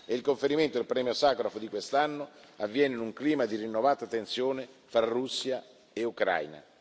Il conferimento del premio Sacharov di quest'anno avviene in un clima di rinnovata tensione fra Russia e Ucraina.